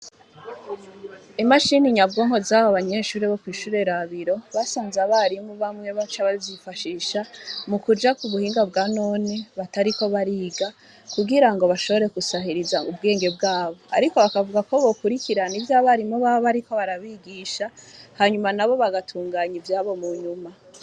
Imashini nyabwonko zabo banyeshure bo kw'ishure Rabiro basanze abarimu bamwe baca bazifashisha mukuja kubuhinga bwa none batariko bariga kugira ngo bashobore gusahiriza ubwenge bwabo ariko bakavuga ko bokurikirana ivyo abarimu baba bariko barabigisha hanyuma nabo bagatunganya ivyabo munyuma.